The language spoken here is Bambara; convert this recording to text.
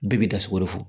Bɛɛ bi dasugo fɔ